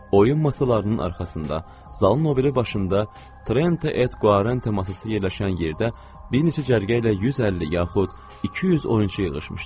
Oyun masalarının arxasında, zalın o biri başında, Treente Et Qvarente masası yerləşən yerdə bir neçə cərgə ilə 150 yaxud 200 oyunçu yığışmışdı.